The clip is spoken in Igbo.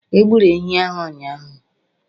Egburu ehi ahụ ụnyahụ